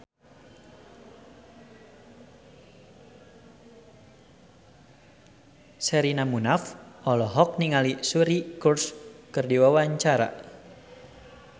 Sherina Munaf olohok ningali Suri Cruise keur diwawancara